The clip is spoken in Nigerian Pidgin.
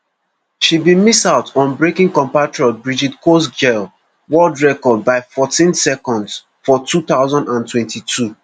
she bin miss out on breaking compatriot brigid kosgei world record by fourteen seconds for two thousand and twenty-two